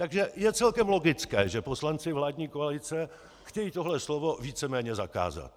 Takže je celkem logické, že poslanci vládní koalice chtějí tohle slovo víceméně zakázat.